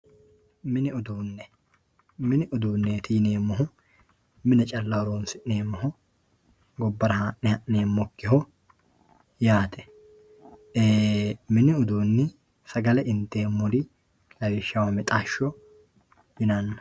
Mini uduune mini uduunet yinemohu mine calla horonsinemoho gobara haane hanemokiho yaate mini uduuni sagale intemori lawishshaho mixasho yinana.